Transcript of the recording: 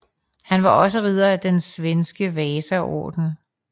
Han var også ridder af den svenske Vasaorden